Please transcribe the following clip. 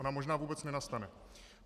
Ona možná vůbec nenastane.